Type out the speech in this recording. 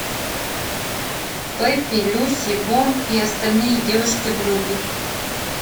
пепи люси бом и остальные девушки вруби